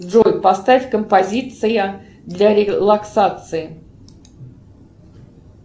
джой поставь композиция для релаксации